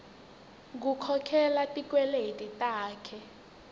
kukhokhela tikweleti takhe